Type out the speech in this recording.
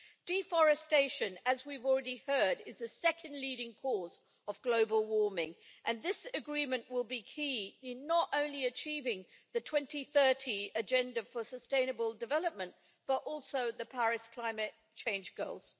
Deforestation, as we've already heard, is the second leading cause of global warming and this agreement will be key, not only in achieving the 2030 Agenda for Sustainable Development, but also the Paris climate change goals.